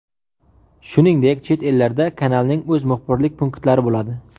Shuningdek, chet ellarda kanalning o‘z muxbirlik punktlari bo‘ladi.